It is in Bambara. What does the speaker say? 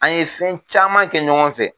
An ɲe fɛn caman kɛ ɲɔgɔn fɛ